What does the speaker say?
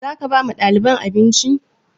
Zaka ba wa ɗaliban abinci?